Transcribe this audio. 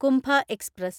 കുംഭ express